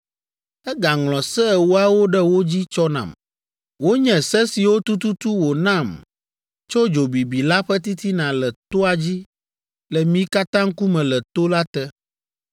Egaŋlɔ Se Ewoawo ɖe wo dzi tsɔ nam. Wonye se siwo tututu wònam tso dzo bibi la ƒe titina le toa dzi le mi katã ŋkume le to la te.